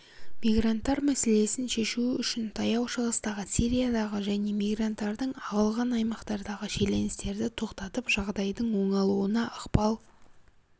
мигранттар мәселесін шешу үшін таяу шығыстағы сириядағы және мигранттардың ағылған аймақтардағы шиеленістерді тоқтатып жағдайдың оңалуына ықпал